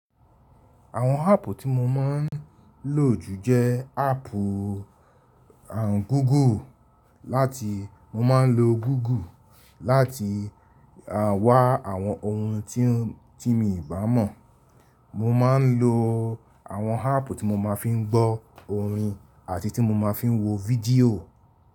Àwọn áàpù tí mo máa ń lò jù jẹ́ áàpù Google láti mo máa ń lo Google láti wá àwọn ohun tí mi bá mọ̀. Mo má ń lo àwọn áàpù tí mo máa fi ń gbọ́ orin àti tí mo máa fi ń wo fídíò.